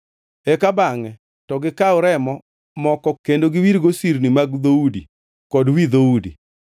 Eka bangʼe to gikaw remo moko kendo giwirgo sirni mag dhoudi kod wi dhoudi.